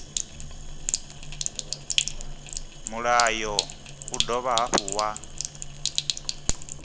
mulayo u dovha hafhu wa